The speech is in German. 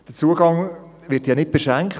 Der Zugang wird ja nicht beschränkt.